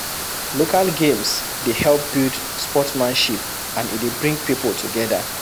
Local games dey help build sportmanship and e dey bring pipo together